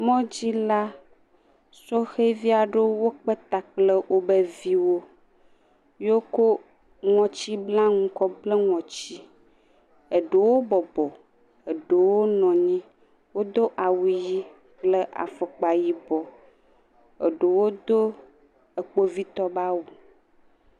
Mɔ dzi la, Sɔhewovi aɖewo wokpe ta kple wobe viwo ye woko ŋɔtsiblanuwo kɔ bla wobe ŋɔtsi. Eɖewo bɔbɔ, eɖewo nɔ nyi. Wodo awu yi kple afɔkpa yibɔ. Eɖewo do ekpovitɔwo be awu.